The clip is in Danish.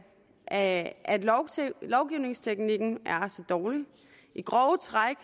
at lovgivningsteknikken er så dårlig i grove træk